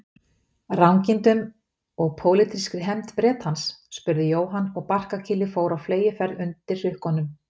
Rangindum og pólitískri hefnd Bretans? spurði Jóhann og barkakýlið fór á fleygiferð undir hrukkunum.